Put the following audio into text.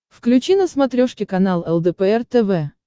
включи на смотрешке канал лдпр тв